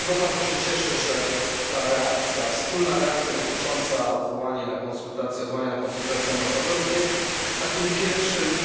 Dlatego bardzo się cieszę, że ta reakcja, wspólna reakcja dotycząca odwołania na konsultacje ambasadorów jest takim pierwszym